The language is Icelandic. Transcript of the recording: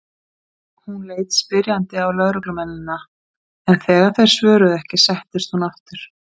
Hún leit spyrjandi á lögreglumennina en þegar þeir svöruðu ekki settist hún aftur.